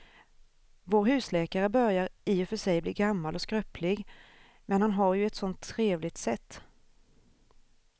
Vår husläkare börjar i och för sig bli gammal och skröplig, men han har ju ett sådant trevligt sätt!